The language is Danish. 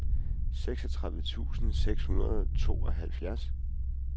seksogtredive tusind seks hundrede og tooghalvfjerds